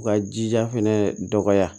U ka jija fɛnɛ dɔgɔya